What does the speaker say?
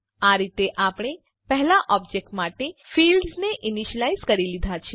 આ રીતે આપણે પહેલા ઓબજેક્ટ માટે ફિલ્ડ્સ ને ઈનીશ્યલાઈઝ કરી લીધા છે